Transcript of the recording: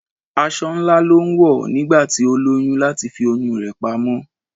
Aṣọ ńlá ló ń wọ̀ nígbà tí ó lóyún láti fi oyún rè pamọ́.